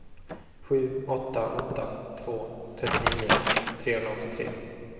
sju åtta åtta två trettionio trehundraåttiotre